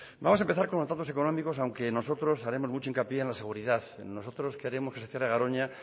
vamos a empezar con los datos económicos aunque nosotros haremos mucho hincapié en la seguridad nosotros queremos que se cierre garoña